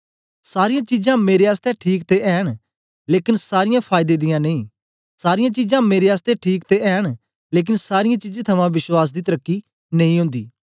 सारीयां चीजां मेरे आसतै ठीक ते ऐ न लेकन सारीयां फायदे दियां नेई सारीयां चीजां मेरे आसतै ठीक ते ऐ न लेकन सारीयें चीजें थमां विश्वास दी तर्की नेई ओंदी